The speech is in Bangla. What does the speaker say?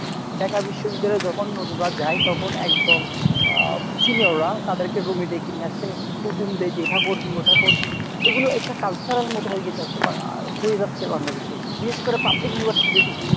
Dhaka বিশ্ববিদ্যালয়ে যখন নতুনরা যায় তখন একদল আ senior রা তাদেরকে room এ ডেকে নিয়ে আসে হুকুম দেয় যে এটা করবি ওটা করবি। এগুলো একটা culture এর মতো হয়েগেছে হয়ে যাচ্ছে Bangladesh এ। বিশেষ করে public